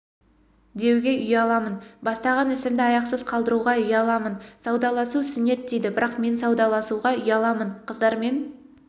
деуге ұяламын бастаған ісімді аяқсыз қалдыруға ұяламын саудаласу сүннет дейді бірақ мен саудаласуға ұяламын қыздармен